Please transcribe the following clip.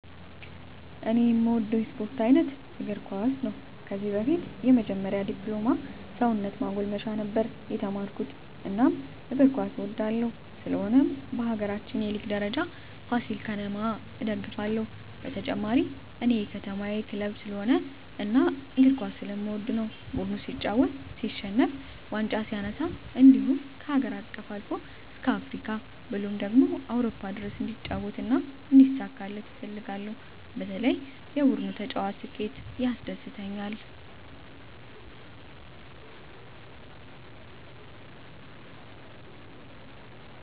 እኔ እምወደው የስፓርት አይነት እግርኳስ ነው ከዚህ በፊት የመጀመሪ ድፕሎማ ሰውነት ማጎልመሻ ነበር የተመረኩት እናም እግር ኳስ እወዳለሁ ስለሆነም በሀገራችን የሊግ ደረጃ ፍሲል ከተማ እደግፍለ ሁ በተጨማሪ እኔ የከተማየ ክለብ ስለሆነ እና እግር ኳስ ስለምወድ ነው ቡድኑ ሲጫወት ሲሸንፍ ዋንጫ ሲነሳ እንድሁም ከሀገር አቀፍ አልፎ እስከ አፍሪካ ብሎም አውሮፓ ድረስ እንዲጫወት እና እንዲሳካለት እፈልጋለሁ በተለይ የቡድኑ ተጫዋች ስኬት ያስደስተኛል።